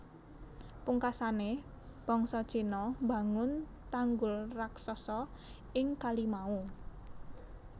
Pungkasane bangsa Cina mbangun tanggul raksasa ing kali mau